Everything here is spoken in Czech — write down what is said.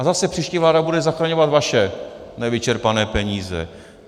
A zase příští vláda bude zachraňovat vaše nevyčerpané peníze.